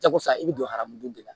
Jakosa i bɛ don haramudenw de la